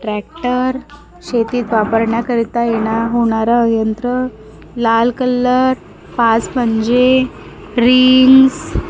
tractor शेतीत वापरण्याकरिता येणा होणारा यंत्र लाल कलर पाच पंजे रिंग्स --